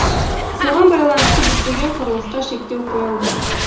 соған байланысты бітпеген құрылысқа шектеу қойылды